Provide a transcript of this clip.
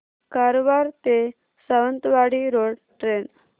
कारवार ते Sawantwadi road train